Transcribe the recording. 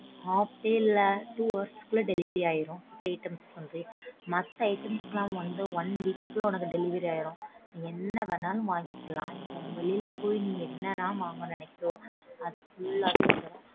Half day ல two hours க்குள்ள delivery ஆயிடும். Food items வந்து மத்த items லாம் வந்து one week க்குள்ள உனக்கு delivery ஆயிடும். நீ என்ன வேணாலும் வாங்கிக்கலாம். வெளில போயி நீ என்னலாம் வாங்கணும்னு நினைக்கறியோ அது full ஆவே வந்துரும்